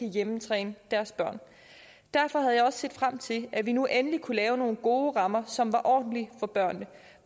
hjemmetræne deres børn derfor havde jeg også set frem til at vi nu endelig kunne lave nogle gode rammer som var ordentlige for børnene